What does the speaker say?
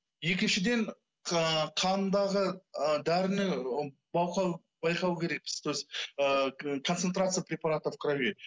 екіншіден қанындағы ы дәріні байқау керекпіз то есть ы концентрация препарата в крови